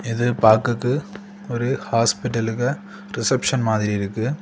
இது பாக்குறதுக்கு ஒரு ஹாஸ்பிடலுக்க ரிசப்ஷன் மாதிரி இருக்கு.